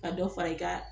Ka dɔ fara i ka